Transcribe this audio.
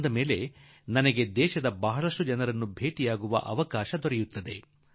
ಈ ಸಮಯದಲ್ಲಿ ನನಗೆ ದೇಶದ ಬಹಳಷ್ಟು ಜನರನ್ನು ಕಾಣುವ ಅವಕಾಶ ಸಿಗುತ್ತದೆ